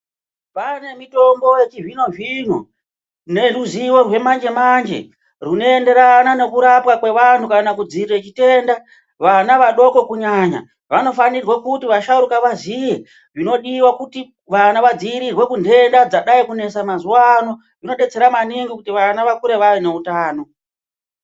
Kwane mitombo yechizvino zvino neruzivo rwamanje manje rwunoenderana nekurapwa kwevantu kana kudziirira chitenda vana vadoko kunyanya vanofanirwa kuti vasharuka vaziye zvinodiwa kuti vana vadziirirwe kuntenda dzadai kunetsa mazuwano zvinodetsera maningi kuti vana vakure vaine utano